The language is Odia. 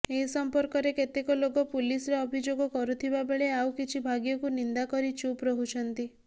ଏସଂପର୍କରେ କେତେକ ଲୋକ ପୁଲିସରେ ଅଭିଯୋଗ କରୁଥିବାବେଳେ ଆଉ କିଛି ଭାଗ୍ୟକୁ ନିନ୍ଦା କରି ଚୁପ ରହୁଛନ୍ତି